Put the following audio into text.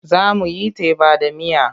Za mu yi teba da miya.